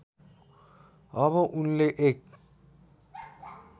अब उनले एक